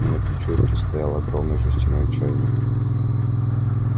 на печурке стоял огромный жестяной чайник